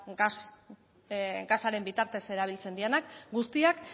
gasaren bitartez erabiltzen direnak guztiak